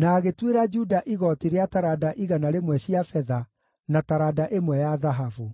na agĩtuĩra Juda igooti rĩa taranda igana rĩmwe cia betha, na taranda ĩmwe ya thahabu.